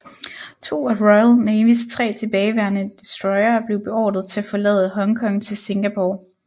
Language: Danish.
To af Royal Navys tre tilbageværende destroyere blev beordret til at forlade Hongkong til Singapore